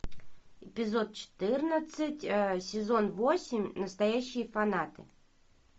эпизод четырнадцать сезон восемь настоящие фанаты